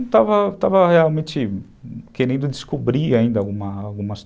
Eu estava estava realmente querendo descobrir ainda algumas algumas